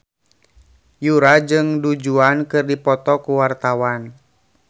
Yura jeung Du Juan keur dipoto ku wartawan